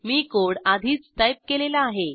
मी code आधीच type केलेला आहे